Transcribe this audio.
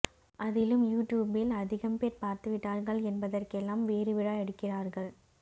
அதிலும் யு டியூப்பில் அதிகம் பேர் பார்த்துவிட்டார்கள் என்பதெற்கெல்லாம் வேறு விழா எடுக்கிறார்கள்